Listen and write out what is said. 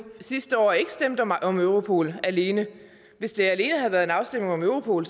sidste år ikke stemte om europol alene hvis det alene havde været en afstemning om europol